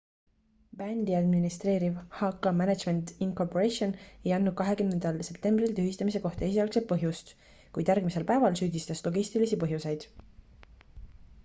bändi administreeriv hk management inc ei andnud 20 septembril tühistamise kohta esialgset põhjust kuid järgmisel päeval süüdistas logistilisi põhjuseid